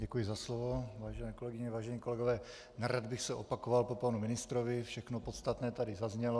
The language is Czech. Děkuji za slovo, vážené kolegyně, vážení kolegové, nerad bych se opakoval po panu ministrovi, všechno podstatné tady zaznělo.